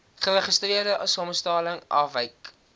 geregistreerde samestelling afwyk